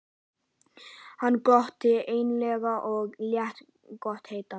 Hann glotti meinlega og lét gott heita.